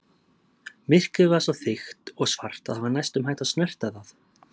Myrkrið var svo þykkt og svart að það var næstum hægt að snerta það.